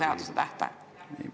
Teie küsimuse esitamise aeg on täis.